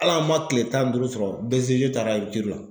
Hali an man kile tan ni duuru sɔrɔ BCG taara la.